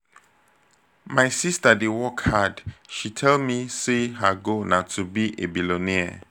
my sister dey work hard. she tell me say her goal na to be a billionaire